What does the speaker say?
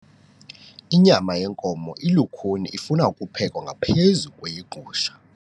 Inyama yenkomo ilukhuni ifuna ukuphekwa ngaphezu kweyegusha.